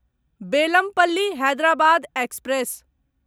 Bellampalli Hyderabad express